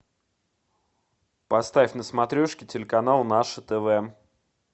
поставь на смотрешке телеканал наше тв